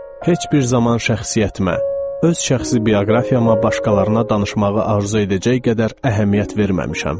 Heç bir zaman şəxsiyyətimə, öz şəxsi bioqrafiyama başqalarına danışmağı arzu edəcək qədər əhəmiyyət verməmişəm.